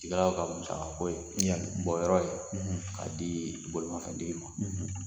I ka k'a musakako ye bɔ o yɔrɔ k'a di bolimafɛntigi ma.